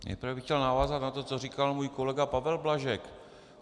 Nejprve bych chtěl navázat na to, co říkal můj kolega Pavel Blažek.